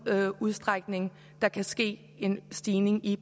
udstrækning der kan ske en stigning i